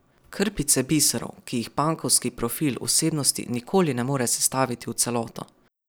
Krpice biserov, ki jih pankovski profil osebnosti nikoli ne more sestaviti v celoto.